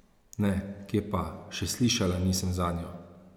Ne, kje pa, še slišala nisem zanjo!